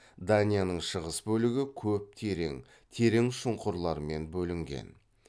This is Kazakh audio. данияның шығыс бөлігі көп терең терең шұңқырлармен бөлінген